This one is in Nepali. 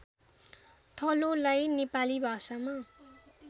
थलोलाई नेपाली भाषामा